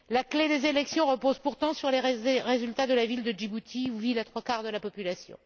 La clé des élections repose pourtant sur les résultats de la ville de Djibouti, où vivent les trois quarts de la population.